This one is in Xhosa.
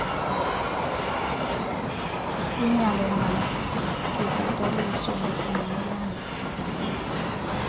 linyangwe malibhataliswe ngokungqinelana